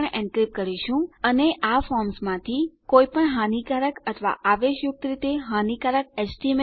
આપણે પાસવર્ડોને પણ એનક્રિપ્ટ કરીશું અને આ ફોર્મ્સ માંથી કોઈપણ હાનીકારક અથવા આવેશયુક્ત રીતે હાનીકારક એચટીએમએલ ટેગોને રદ્દ કરીશું